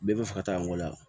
Bɛɛ bɛ fɛ ka taa n wolo yan